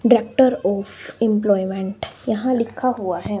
Director of employment यहां लिखा हुआ है।